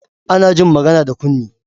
Ana jin magana da kunne